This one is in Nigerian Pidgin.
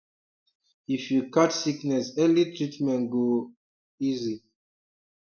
if you catch sickness early treatment go um easy